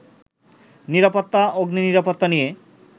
নিরাপত্তা, অগ্নিনিরাপত্তা নিয়ে